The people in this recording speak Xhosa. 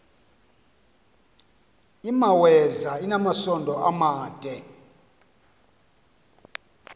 imaweza inamasond amade